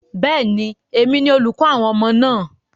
Bẹ́ẹ̀ni, èmi ni olùkọ́ àwọn ọmọ náà.